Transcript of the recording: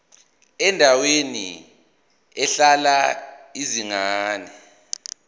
endaweni ehlala izingane